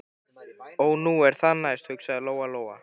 Ó, nú er það næst, hugsaði Lóa Lóa.